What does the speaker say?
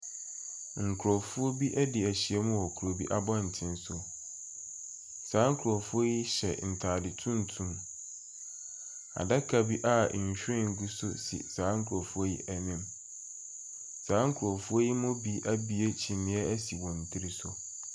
Nkrɔfoɔ bi adi ahyiam wɔ kuro bi abɔten so. Saa nkrɔfoɔ yi hyɛ ntaade tuntum. Adaka a nhwiren si saa nkrɔfoɔ yi anim. Saa nkrɔfoɔ mu bi abiue kyiniiɛ asi wɔn tiri so.